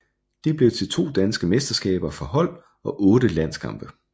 Det blev til to danske mesterskaber for hold og otte landskampe